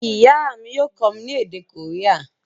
Ìyá mi yio kómí ni èdè Korea